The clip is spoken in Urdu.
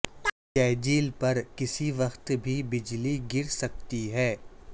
جیجیل پر کسی وقت بھی بجلی گر سکتی ہے